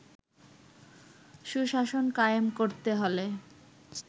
সুশাসন কায়েম করতে হলে